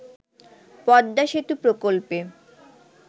পদ্মা সেতু প্রকল্পে